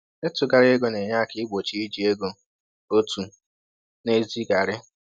Ịtụgharị ego na-enye aka igbochi iji ego òtù n’ezieghari.